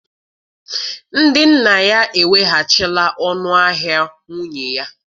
Ndị nna ya eweghachila ọnụ ahịa nwunye ya